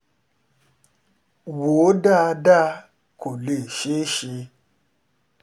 wò ó dáadáa kó lè ṣeé ṣe